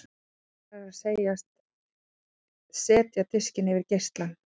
Réttara er að segjast setja diskinn yfir geislann.